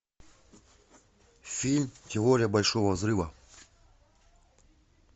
фильм теория большого взрыва